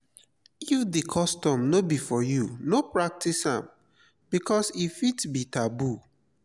if di custom no be for you no pratice because e fit be taboo